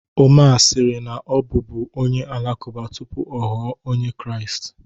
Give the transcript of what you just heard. Omar sịrị na ọ bụ bú onye Alakụba tupu ọ ghọọ Onye Kraịst